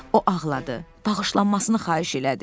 O ağladı, bağışlanmasını xahiş elədi.